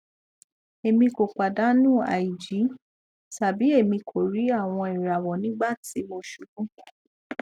emi ko padanu aiji tabi emi ko ri awọn irawọ nigbati mo ṣubu